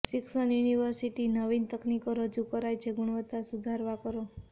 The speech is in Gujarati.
શિક્ષણ યુનિવર્સિટી નવીન તકનીકો રજૂ કરાઈ છે ગુણવત્તા સુધારવા કરો